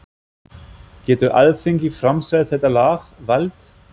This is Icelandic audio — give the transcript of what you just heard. Getur Alþingi framselt þetta lag, vald?